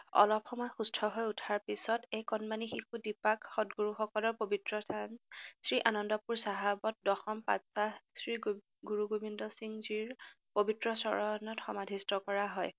অলপ সময় সুস্থহৈ উঠাৰ পিচত এই কণমানী শিশু দীপাক সতগুৰুসকলৰ পৱিত্ৰস্থান শ্ৰীআনন্দপুৰ চাহাবত দশম পাতবাহ শ্ৰী গুৰুগোবিন্দসিংজীৰ পৱিত্ৰ চৰণত সমাধিষ্ট কৰা হয়।